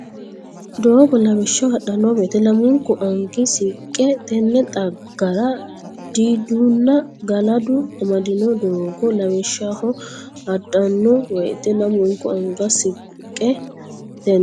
Doogo Lawishshaho hadhanno woyte lamunku anga sinqe Tenne dhaggera diidunna galadu amaddino Doogo Lawishshaho hadhanno woyte lamunku anga sinqe Tenne.